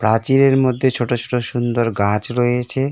প্রাচীরের মধ্যে ছোট ছোট সুন্দর গাছ রয়েছে।